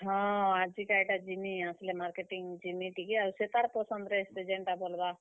ହଁ, ଆଜି କା ଇଟା ଯିମି, ଆସ୍ ଲେ marketing ଯିମି ଟିକେ ଆର୍ ସେତାର୍ ପସନ୍ଦରେ ସେ ଯେନ୍ ଟା ବଲ୍ ବା।